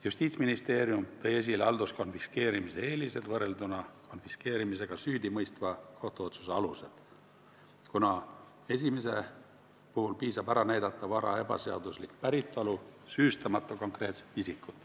Justiitsministeerium tõi esile halduskonfiskeerimise eelised võrrelduna konfiskeerimisega süüdimõistva kohtuotsuse alusel, kuna esimese puhul piisab sellest, kui ära näidata vara ebaseaduslik päritolu, süüstamata konkreetset isikut.